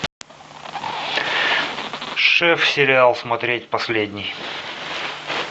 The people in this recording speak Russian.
шеф сериал смотреть последний